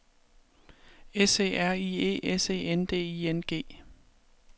S E R I E S E N D I N G